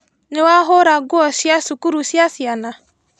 Nĩwahũra nguo cia cukuru cia ciana?